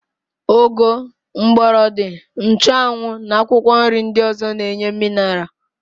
Ụgụ, mgbọrọdị, nchụanwụ na akwụkwọnri ndị ọ̀zọ́ na-enye minaral.